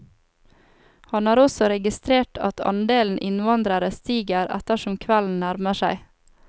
Han har også registrert at andelen innvandrere stiger ettersom kvelden nærmer seg.